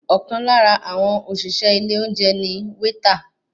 Ọ̀kan lára àwọn òṣìṣẹ́ ilé oúnjẹ ni wéétà.